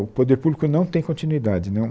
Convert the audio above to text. O poder público não tem continuidade né